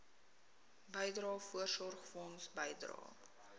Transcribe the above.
bydrae voorsorgfonds bydrae